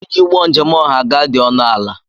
iji ụgbọ njem ọha ga-adị ọnụ ala